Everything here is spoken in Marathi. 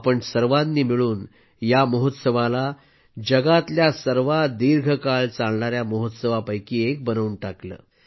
आपण सर्वांनी मिळून या महोत्सवाला जगातल्या सर्वात दीर्घकाळ चालणाऱ्या महोत्सवापैकी एक बनवून टाकलं